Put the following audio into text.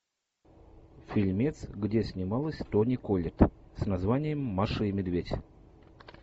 фильмец где снималась тони коллетт с названием маша и медведь